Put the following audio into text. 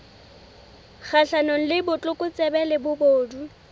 kgahlanong le botlokotsebe le bobodu